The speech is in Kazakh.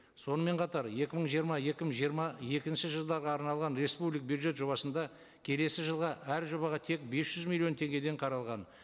сонымен қатар екі мың жиырма екі мың жиырма екінші жылдарға арналған бюджет жобасында келесі жылға әр жобаға тек бес жүз миллион теңгеден қаралған